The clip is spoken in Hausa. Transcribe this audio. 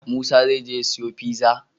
Musa zai je ya siyo pizza?